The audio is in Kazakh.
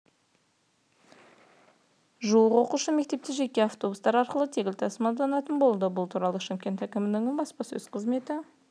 жуық оқушы мектепке жеке автобустар арқылы тегін тасымалданатын болады бұл туралы шымкент әкімінің баспасөз қызметі